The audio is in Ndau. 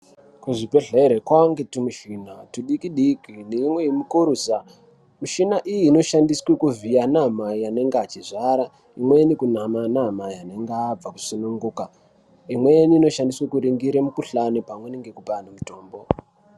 Kuzvibhedhlere kwaange twumishina twudiki-diki neimwe mikurusa. Mishina iyi inoshandiswe kuvhiya anamai anenge achizvara, imweni kunama anamai anenge abva kusununguka. Imweni inoshandiswa kuningire mikhuhlani ,pamweni nekupa anhu mutombo.